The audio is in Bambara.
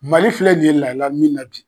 Mali filɛ nin ye lahaliya min na bi